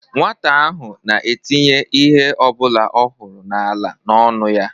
Nwata ahụ na-etinye ihe ọbụla ọ hụrụ n'ala n'ọnụ ya